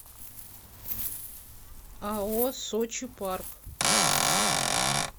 ао сочи парк